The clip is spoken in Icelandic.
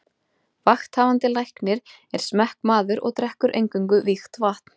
Vakthafandi Læknir er smekkmaður og drekkur eingöngu vígt vatn.